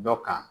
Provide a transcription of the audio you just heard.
Dɔ kan